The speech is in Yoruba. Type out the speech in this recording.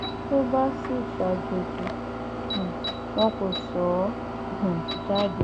tó bá sì ṣàjọjì um wọn kò sọ ọ um jáde